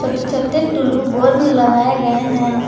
छोटे टूल्लू बल्ब लगाए गए हैं।